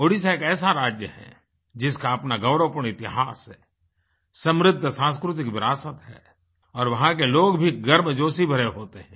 ओड़िशा एक ऐसा राज्य है जिसका अपना गौरवपूर्ण इतिहास है समृद्ध सांस्कृतिक विरासत है और वहाँ के लोग भी गर्म जोशी भरे होते हैं